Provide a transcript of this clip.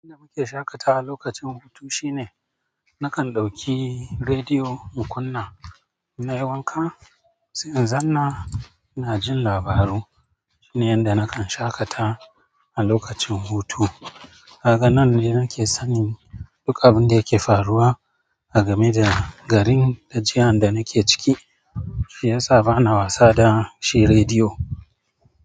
Abin da muke shaƙatawa lokacin hutu shine nakan ɗauki rediyo in kunna na yi wanka, sai in zanna ina jin labaru. Shine yanda nakan shaƙata a lokacin hutu. Daga nan ne nake sanin duk abinda yake faruwa a game da garin da jihan da nake ciki shi yasa bana wasa da shi radiyo.